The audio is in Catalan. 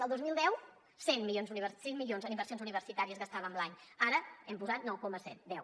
el dos mil deu set milions en inversions universitàries gastàvem l’any ara hem posat nou coma set deu